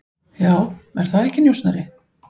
Já, er það ekki, njósnari?